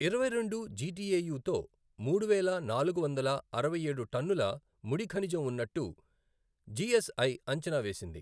ఇరవై రెండు జిటిఎయుతో మూడువేల నాలుగు వందల అరవై ఏడు టన్నుల ముడి ఖనిజం ఉన్నట్టు జిఎస్ఐ అంచనా వేసింది.